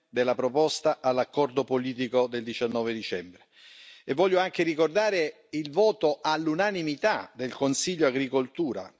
della proposta all'accordo politico del 19 dicembre, e voglio anche ricordare il voto all'unanimità del Consiglio Agricoltura.